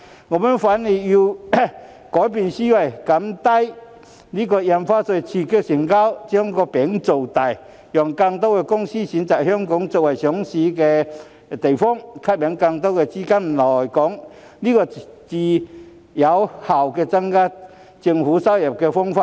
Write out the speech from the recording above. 我們反而要改變思維，降低印花稅以刺激成交，"把餅造大"，讓更多公司選擇香港作為上市首選地，吸引更多資金來港，這才是更有效增加政府收入的方法。